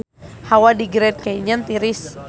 Hawa di Grand Canyon tiris